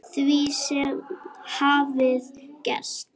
Því sem hafði gerst.